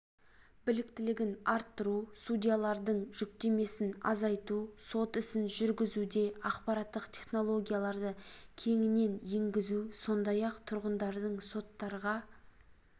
біліктілігін арттыру судьялардың жүктемесін азайту сот ісін жүргізуде ақпараттық технологияларды кеңінен енгізу сондай-ақ тұрғындардың соттарға